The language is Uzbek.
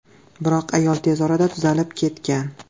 Biroq ayol tez orada tuzalib ketgan.